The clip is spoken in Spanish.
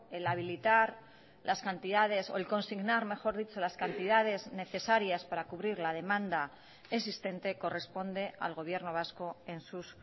el habilitar las cantidades o el consignar mejor dicho las cantidades necesarias para cubrir la demanda existente corresponde al gobierno vasco en sus